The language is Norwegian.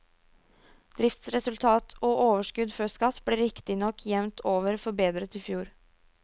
Driftsresultat og overskudd før skatt ble riktignok jevnt over forbedret i fjor.